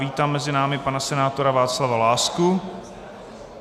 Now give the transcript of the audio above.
Vítám mezi námi pana senátora Václava Lásku.